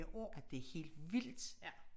Ja det er helt vildt